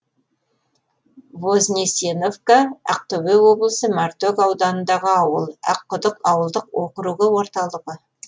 вознесеновка ақтөбе облысы мартөк ауданындағы ауыл аққұдық ауылдық округі орталығы